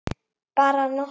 Bara nokkra daga.